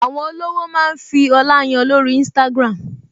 Àwọn olówó máa ń fi ọlá yan lórí Instagram